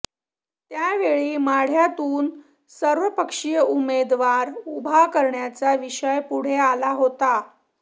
त्यावेळी माढ्यातून सर्वपक्षीय उमेदवार उभा करण्याचा विषय पुढे आला होता